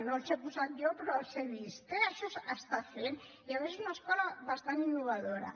no els he posat jo però els he vist eh això s’està fent i a més una escola bastant innovadora